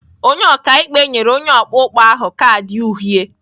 Onye ọka ikpe nyere onye ọkpụkpọ ahụ kaadị uhie.